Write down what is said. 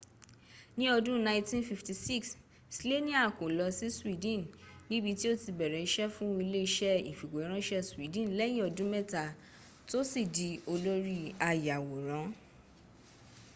ní ọdún 1956 slania kó lọ sí sweden níbití ó ti bẹ̀rẹ̀ iṣẹ́ fún ilé iṣẹ́ ìfìwéránṣẹ́ sweden lẹ́yìn ọdún mẹ́ta tó sì di olórí ayàwòrán